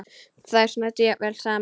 Þeir snæddu jafnvel saman.